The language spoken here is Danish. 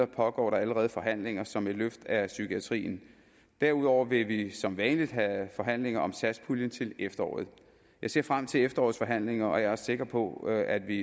pågår der allerede forhandlinger som et løft af psykiatrien derudover vil vi som vanligt have forhandlinger om satspuljen til efteråret jeg ser frem til efterårets forhandlinger og jeg er sikker på at vi